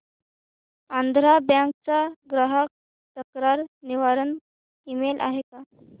Andhra Bank चा ग्राहक तक्रार निवारण ईमेल आहे का